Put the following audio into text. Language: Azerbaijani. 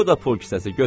Bu da pul kisəsi, götür.